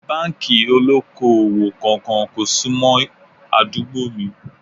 Báńkì ó lóko-òwò kankan kò sún mọ́ àdúgbò mi